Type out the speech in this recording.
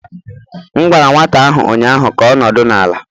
M gwara nwata ahụ ụnyaahụ ka ọ nọdụ n' ala!